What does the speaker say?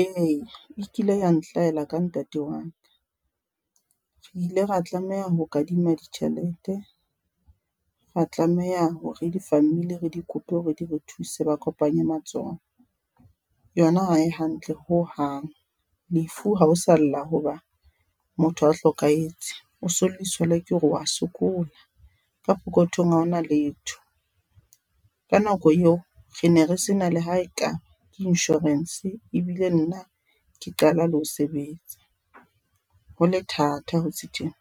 Eya e kile ya nhlahella ka ntate waka. Re ile ra tlameha ho kadima ditjhelete, ra tlameha hore di-family re di kope hore di re thuse ba kopanye matsoho. Yona ha e hantle ho hang, lefu ha o sa lla hoba motho a hlokahetse, o se o lliswa le ke hore wa sokola ka pokothong, haona letho. Ka nako eo re ne re sena le haekaba ke insurance, e bile nna ke qala le ho sebetsa, hole thata ho se tjena,